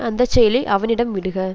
அந்த செயலை அவனிடம் விடுக